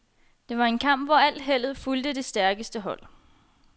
Det var en kamp, hvor al heldet fulgte det stærkeste hold.